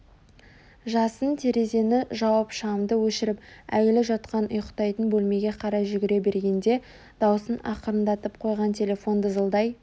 жасын терезені жауып шамды өшіріп әйелі жатқан ұйықтайтын бөлмеге қарай жүре бергенде даусын ақырындатып қойған телефон дызылдай